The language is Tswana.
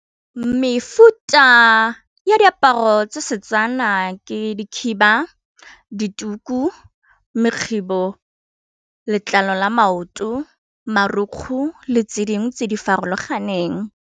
Mefuta ya diaparo tsa Setswana ke dikhiba, dituku, mekghibo, letlalo la maoto, marukgu, le tse dingwe tse di farologaneng.